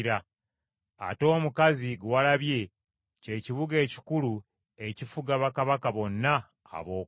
Ate omukazi gwe walabye, ky’ekibuga ekikulu ekifuga bakabaka bonna ab’oku nsi.”